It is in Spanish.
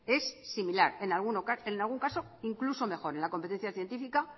es similar en algún caso incluso mejor en la competencia científica